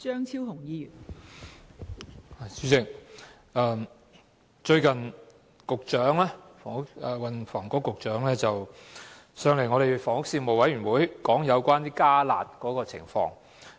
代理主席，最近運輸及房屋局局長出席了房屋事務委員會會議有關"加辣"的討論。